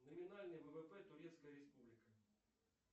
номинальный ввп турецкая республика